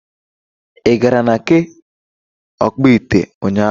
Ị gara na nke ọkpụ ite ụnyaahụ.